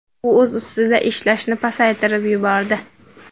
U o‘z ustida ishlashni pasaytirib yubordi.